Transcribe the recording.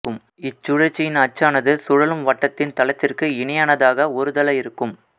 இச்சுழற்சியின் அச்சானது சுழலும் வட்டத்தின் தளத்திற்கு இணையானதாக ஒருதள இருக்கும்